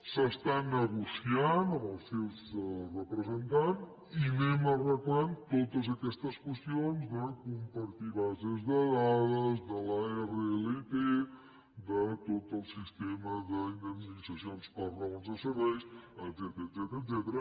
s’està negociant amb els seus representants i anem arreglant totes aquestes qüestions de compartir bases de dades de l’rlt de tot el sistema d’indemnitzacions per raons de serveis etcètera